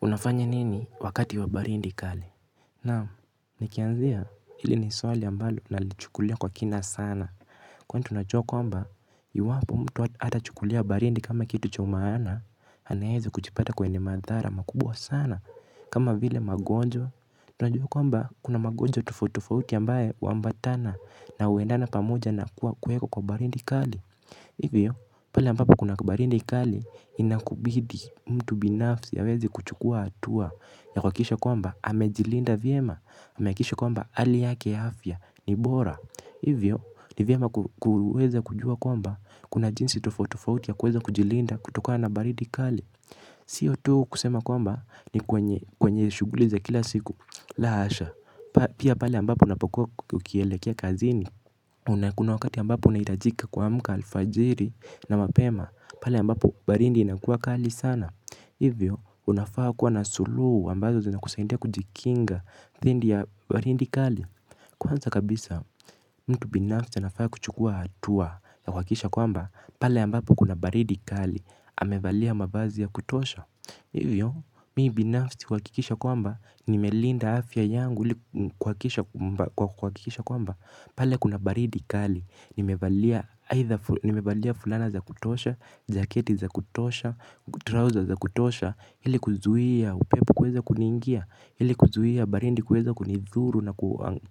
Unafanya nini wakati wa baridi kali. Naam nikianzia hili ni swali ambalo nalichukulia kwa kina sana. Kwani tunajua kwamba iwapo mtu hata chukulia baridi kama kitu cha umaana anaweza kujipata kwenye madhara makubwa sana kama vile magonjwa. Unajua kwamba kuna magonjwa tofauti tofauti ambaye uambatana na uendana pamoja na kuwa kuweko kwa baridi kali. Hivyo pale ambapo kuna baridi kali inakubidi mtu binafsi aweze kuchukua atua ya kuhakikisha kwamba amejilinda vyema, amehakikisha kwamba hali yake ya afya ni bora. Hivyo ni vyema kuweza kujua kwamba kuna jinsi tofauti tofauti ya kuweza kujilinda kutokana na baridi kali. Sio tu kusema kwamba ni kwenye shughuli za kila siku la hasha, pia pale ambapo unapokuwa ukielekea kazini na kuna wakati ambapo unahitajika kuamka alfajiri na mapema. Pale ambapo baridi inakuwa kali sana. Hivyo, unafaa kuwa na suluhu ambazo zina kusaidia kujikinga dhidi ya baridi kali. Kwanza kabisa, mtu binafsi anafaa kuchukua hatua ya kuhakikisha kwamba, pale ambapo kuna baridi kali amevalia mavazi ya kutosha. Hivyo, mi binafsi huhakikisha kwamba, nimelinda afya yangu kwa kuhakikisha kwamba pale kuna baridi kali, nimevalia fulana za kutosha, jaketi za kutosha, trouser za kutosha. Hili kuzuia, upepo kuweza kuniingia, hili kuzuia, baridi kuweza kunithuru na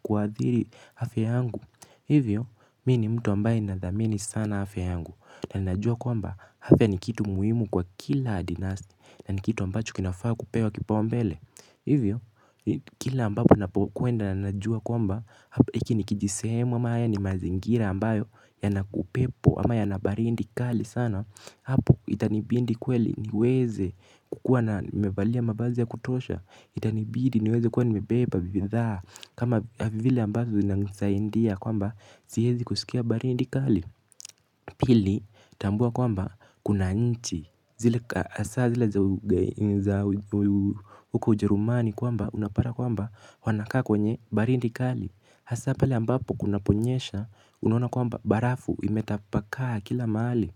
kuadhiri afya yangu. Hivyo, mi ni mtu ambaye na dhamini sana afya yangu. Na najua kwamba, afya ni kitu muhimu kwa kila adinasi. Na ni kitu ambacho kinafaa kupewa kipaumbele. Hivyo, kila ambapo napokwenda na najua kwamba hiki ni kijisehemu ama ni mazingira ambayo yana upepo ama yana barindi kali sana. Hapo itanibidi kweli niweze kukua nimevalia mavazi ya kutosha. Itanibidi niweze kuwa nimebeba bithaa kama vile ambazo zinanisaidia kwamba siezi kusikia baridi kali. Pili tambua kwamba kuna nchi zile asa zile za uko ujerumani kwamba unapata kwamba wanakaa kwenye baridi kali. Hasa pale ambapo kunaponyesha unaona kwamba barafu imetapakaa kila mahali.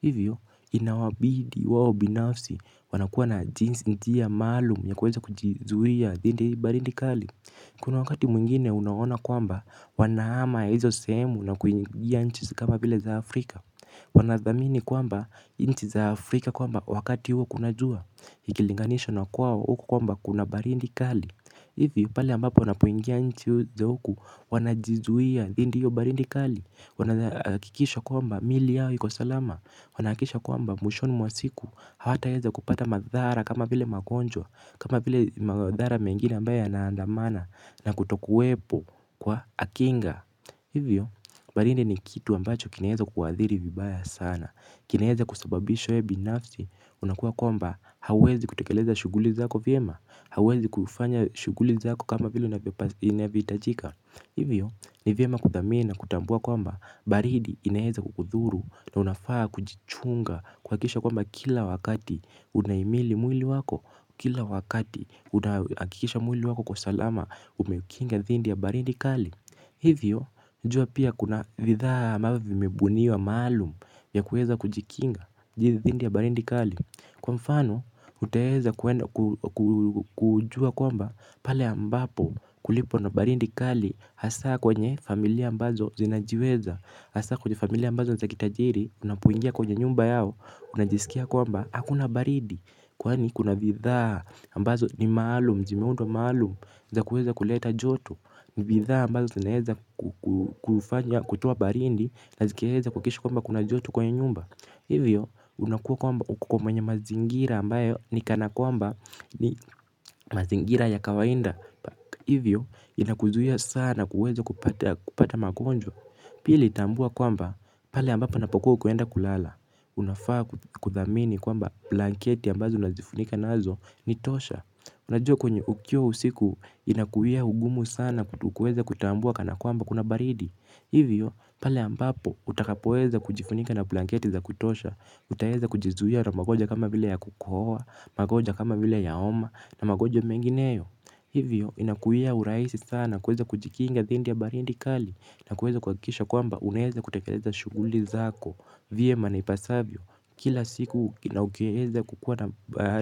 Hivyo inawabidi wao binafsi wanakuwa na njia maalum ya kuweza kujizuia dhidi ya baridi kali. Kuna wakati mwingine unaona kwamba wanahama hizo sehemu na kuingia nchi kama vile za Afrika. Wanathamini kwamba nchi za Afrika kwamba wakati huo kuna jua ikilinganishwa na kwao huko kwamba kuna baridi kali. Hivi pale ambapo wanapoingia nchi za huku wanajizuia dhidi hiyo baridi kali. Wanahakikisha kwamba mili yao iko salama. Wanahakikisha kwamba mwishoni mwa siku hawataweza kupata madhara kama vile magonjwa. Kama vile madhara mengine ambayo yanaandamana na kutokuwepo kwa kinga. Hivyo, baridi ni kitu ambacho kinaweza kuadhiri vibaya sana. Kinaeza kusababisha wee binafsi, unakuwa kwamba hauwezi kutekeleza shuguli zako vyema. Hauwezi kufanya shughuli zako kama vile unavyohitajika. Hivyo, ni vyema kuthamini na kutambua kwamba baridi inaeza kukudhuru na unafaa kujichunga kuhakikisha kwamba kila wakati unahimili mwili wako kila wakati unahakikisha mwili wako uko salama umeukinga dhidi ya baridi kali hivyo jua pia kuna bidhaa ambavyo vimebuniwa maalum ya kuweza kujikinga dhidi ya baridi kali kwa mfano utaeza kujua kwamba pale ambapo kulipo na baridi kali hasa kwenye familia ambazo zinajiweza hasa kwenye familia ambazo ni za kitajiri. Unapoingia kwenye nyumba yao. Unajisikia kwamba hakuna baridi. Kwani kuna bidhaa ambazo ni maalum zimeundwa maalum za kuweza kuleta joto bidhaa ambazo zinaeza kufanya kutoa baridi. Nazikieza kuhakikisha kwamba kuna joto kwenye nyumba. Hivyo unakuwa kwamba uko kwenye mazingira ambayo ni kana kwamba ni mazingira ya kawaida. Hivyo inakuzuia sana kuweza kupata makonjo pili tambua kwamba pale ambapo unapokuwa unaenda kulala unafaa kuthamini kwamba blanketi ambazo unajifunika nazo ni tosha unajua kwenye ukiwa usiku inakuia ugumu sana kuweza kutambua kana kwamba kuna baridi hivyo pale ambapo utakapoeza kujifunika na blanketi za kutosha utaeza kujizuia na magonjwa kama vile ya kukohoa magonjwa kama vile ya homa na magonjwa mengineyo. Hivyo inakuia urahisi sana kuweza kujikinga dhidi ya baridi kali. Na kuweza kuhakikisha kwamba unaeza kutekeleza shughuli zako vyema naipasavyo kila siku inaukeheza kukuwa napahali.